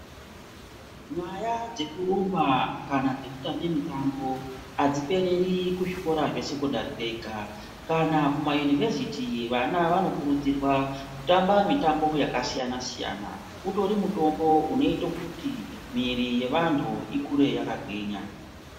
Nyaya dzekurumba kana dzekutambe mitambo adzipereri kuzvikora zvesekondari kwega. Kana Kuma yunivhesiti vana vanokurudzirwa kutamba mitambo yakasiyana-siyana. Utori mutombo unoito kuti miri yevantu ikure yakagwinya.